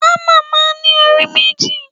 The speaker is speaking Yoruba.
Hámà máa ń ní orí méjì.